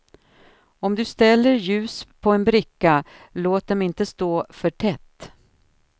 Om du ställer ljus på en bricka, låt dem inte stå för tätt.